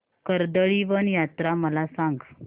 कर्दळीवन यात्रा मला सांग